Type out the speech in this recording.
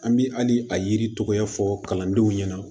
An bɛ hali a yiritigɛ fɔ kalandenw ɲɛna